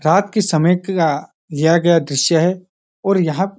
रात के समय का यह लिया गया द्रिश्य है और यह --